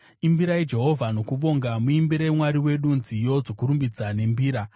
Imbirai Jehovha nokuvonga; muimbire Mwari wedu nziyo dzokurumbidza nembira.